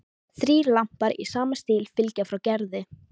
Þrír lampar í sama stíl fylgja frá Gerði.